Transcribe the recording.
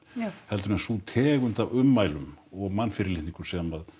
heldur en sú tegund af ummælum og mannfyrirlitningu sem